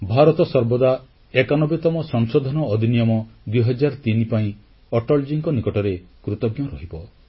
ଭାରତ ସର୍ବଦା 91ତମ ସଂଶୋଧନ ଅଧିନିୟମ 2003 ପାଇଁ ଅଟଳଜୀଙ୍କ ନିକଟରେ କୃତଜ୍ଞ ରହିବ